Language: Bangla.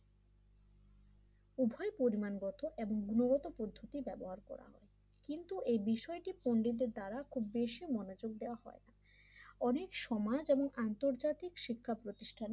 উভয় পরিমাণগত এবং গুণগত পদ্ধতি ব্যবহার করা হয় কিন্তু এই বিষয়টি পন্ডিতের দ্বারা বেশি মনোযোগ দেওয়া হয় অনেক সমাজ এবং আন্তর্জাতিক শিক্ষা প্রতিষ্ঠানে